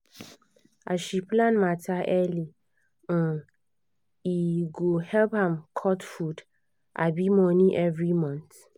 as she plan matter early um e um help am cut food um money everymonth.